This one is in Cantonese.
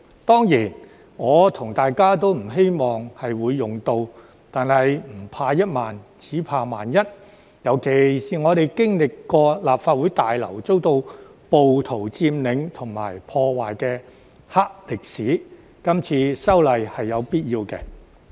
當然，我和大家都不希望會用到，但是"唔怕一萬，只怕萬一"，尤其是我們經歷過立法會大樓遭到暴徒佔領及破壞的"黑歷史"，今次修例是有必要的。